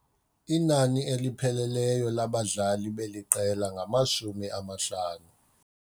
Inani elipheleleyo labadlali beli qela ngamashumi amahlanu.